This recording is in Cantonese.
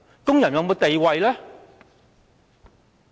工人有沒有地位？